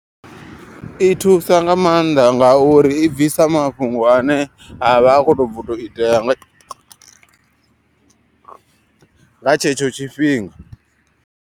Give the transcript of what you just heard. I thusa nga maanḓa ngauri i bvisa mafhungo ane a vha a khoto bva tou itea nga tshetsho tshifhinga.